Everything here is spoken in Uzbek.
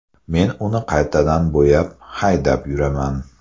Men uni qaytadan bo‘yab, haydab yuraman.